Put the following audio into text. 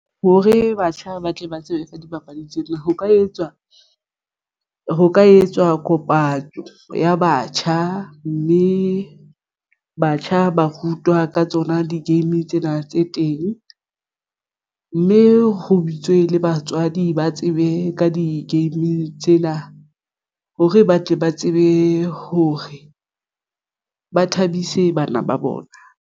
Hore batjha ba tle ba tsebe ka dipapadi tsena ho ka etswa ho ka etswa kopano ya batjha mme batjha ba rutwa ka tsona di-game tsena tse teng, mme ho bitswe le batswadi ba tsebe ka di-game tsena hore ba tle ba tsebe hore ba thabise bana ba bona.